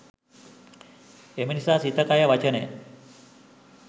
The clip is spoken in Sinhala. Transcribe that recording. එම නිසා සිත, කය, වචනය